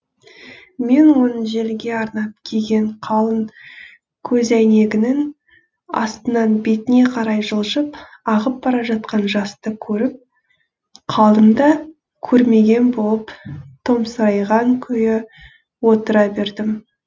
мен оның желге арнап киген қалың көзәйнегінің астынан бетіне қарай жылжып ағып бара жатқан жасты көріп қалдым да көрмеген болып томсырайған күйі отыра бердім